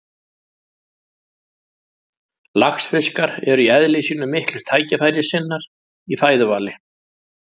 Laxfiskar eru í eðli sínu miklir tækifærissinnar í fæðuvali.